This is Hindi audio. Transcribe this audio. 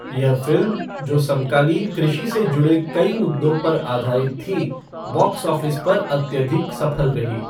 यह फ़िल्म, जो समकालीन कृषि से जुड़े कई मुद्दों पर आधारित थी, बॉक्स ऑफ़िस पर अत्यधिक सफल रही।